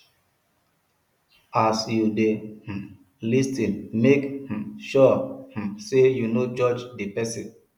as you de um lis ten make um sure um say you no judge di persin